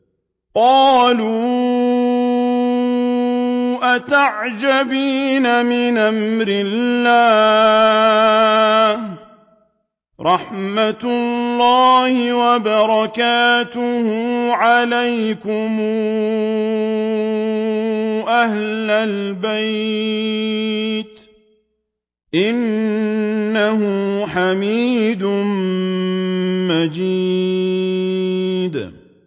قَالُوا أَتَعْجَبِينَ مِنْ أَمْرِ اللَّهِ ۖ رَحْمَتُ اللَّهِ وَبَرَكَاتُهُ عَلَيْكُمْ أَهْلَ الْبَيْتِ ۚ إِنَّهُ حَمِيدٌ مَّجِيدٌ